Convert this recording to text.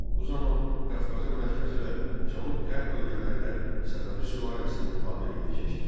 Bu zaman Qafqazın mərkəzi və cənub qərb bölgələri də Səfəvi sülaləsinin tabeliyinə keçdi.